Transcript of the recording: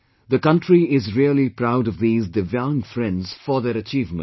The country is really proud of these Divyang friends for their achievement